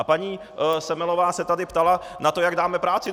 A paní Semelová se tady ptala na to, jak dáme práci.